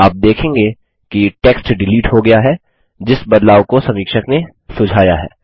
आप देखेंगे कि टेक्स्ट डिलीट हो गया है जिस बदलाव को समीक्षक ने सुझाया है